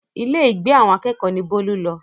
Ilé ìgbé àwọn akẹ́kọ̀ọ́ ni Bólú lọ